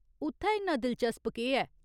उत्थै इन्ना दिलचस्प केह् ऐ ?